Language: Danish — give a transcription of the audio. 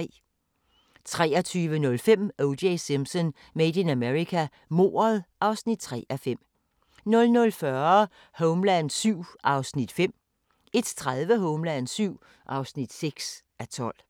23:05: O.J. Simpson: Made in America – mordet (3:5) 00:40: Homeland VII (5:12) 01:30: Homeland VII (6:12)